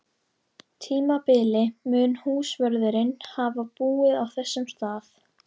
tímabili mun húsvörðurinn hafa búið á þessum stað.